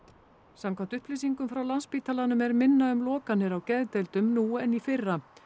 samkvæmt upplýsingum frá Landspítalanum er minna um lokanir á geðdeildum nú en í fyrra